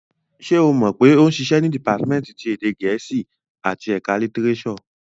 Ṣé o mọ̀ pé ó ń ṣiṣẹ́ ní dìpátímẹ́ǹtì ti èdè gẹ̀ẹ́sì àti ẹ̀kọ́ litirésọ̀?